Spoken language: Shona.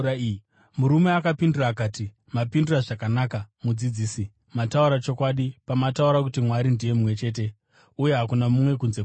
Murume akapindura akati, “Mapindura zvakanaka, mudzidzisi. Mataura chokwadi pamataura kuti Mwari ndiye mumwe chete uye hakuna mumwe kunze kwake.